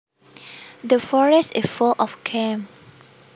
The forest is full of game